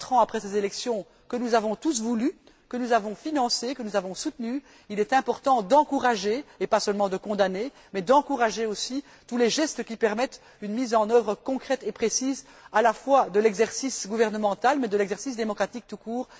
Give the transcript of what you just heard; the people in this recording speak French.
En effet, quatre ans après ces élections que nous avons tous voulues, que nous avons financées, que nous avons soutenues, il est important non seulement de condamner, mais aussi d'encourager tous les gestes qui permettent une mise en œuvre concrète et précise à la fois de l'exercice gouvernemental et de l'exercice démocratique tout court.